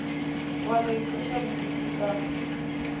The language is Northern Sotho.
wa no itloša bodutu ka